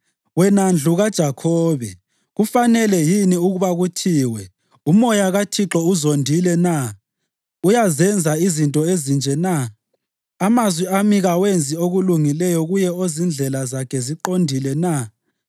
Wena ndlu kaJakhobe, kufanele yini ukuba kuthiwe, “UMoya kaThixo uzondile na? Uyazenza izinto ezinje na?” “Amazwi ami kawenzi okulungileyo kuye ozindlela zakhe ziqondile na?